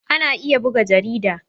Ana iya buga jarida.